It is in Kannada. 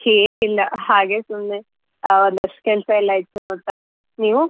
ಏನಿಲ್ಲ ಹಾಗೆ ಸುಮ್ನೆ ಆ ಒಂದಷ್ಟ್ ಕೆಲ್ಸ ಎಲ್ಲ ಇತ್ತು ನೋಡ್ತಾ ಇದ್ದೆ ನೀವು?